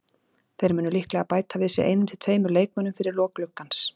Þeir munu líklega bæta við sig einum til tveimur leikmönnum fyrir lok gluggans.